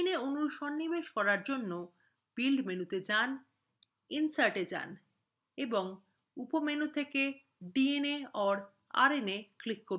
dna অণুর সন্নিবেশ করার জন্য build মেনুতে rna insert a rna এবং